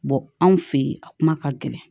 anw fe yen a kuma ka gɛlɛn